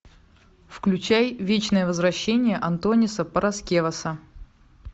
включай вечное возвращение антониса параскеваса